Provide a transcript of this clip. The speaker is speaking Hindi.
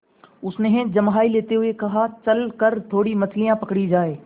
उसने जम्हाई लेते हुए कहा चल कर थोड़ी मछलियाँ पकड़ी जाएँ